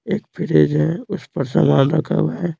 एक फ्रेज है उस पर सामान रखा हुआ है।